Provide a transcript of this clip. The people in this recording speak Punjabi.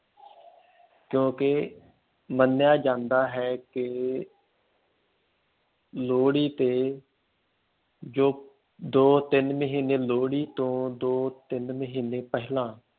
ਕਿਉਂਕਿ ਮੰਨਿਆ ਜਾਂਦਾ ਹੈ ਕਿ ਲੋਹੜੀ ਤੇ ਜੋ ਦੋ ਤਿੰਨ ਮਹੀਨੇ ਲੋਹੜੀ ਤੋਂ ਦੋ ਤਿੰਨ ਮਹੀਨੇ ਪਹਿਲਾਂ